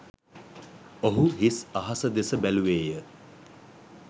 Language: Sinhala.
ඔහු හිස් අහස දෙස බැලුවේ ය.